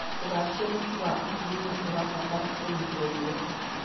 ũgacĩĩru wwa atumia ũrabatara kũnyitwo guoko.